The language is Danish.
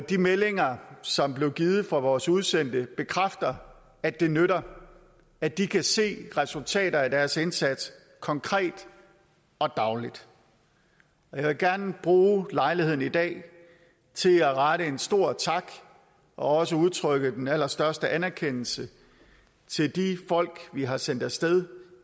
de meldinger som blev givet fra vores udsendte bekræfter at det nytter at de kan se resultater af deres indsats konkret og dagligt jeg vil gerne bruge lejligheden i dag til at rette en stor tak og også udtrykke den allerstørste anerkendelse til de folk vi har sendt af sted